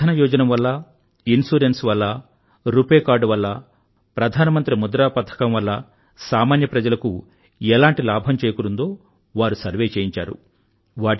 జన ధన యోజన వల్లా ఇన్సురెన్స్ వల్లా రుపే కార్డ్ వల్లా ప్రధానమంత్రి ముద్రా పథకం వల్లా సామాన్య ప్రజలకు ఎలాంటి లాభం చేకూరిందో వారు సర్వే చేయించారు